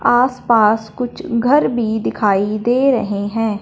आसपास कुछ घर भी दिखाई दे रहे हैं।